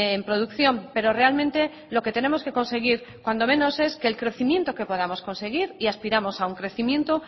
en producción pero realmente lo que tenemos que conseguir cuando menos es que el crecimiento que podamos conseguir y aspiramos a un crecimiento